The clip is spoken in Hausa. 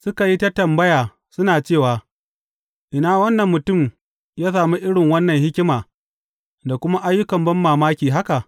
Suka yi ta tambaya suna cewa, Ina wannan mutum ya sami irin wannan hikima da kuma ayyukan banmamaki haka?